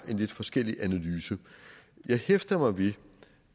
en lidt forskellig analyse jeg hæfter mig ved